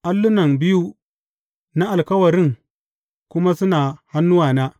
Allunan biyu na alkawarin kuma suna a hannuwana.